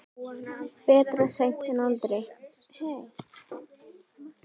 Betra seint en aldrei.